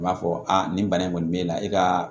U b'a fɔ nin bana in kɔni bɛ e la e ka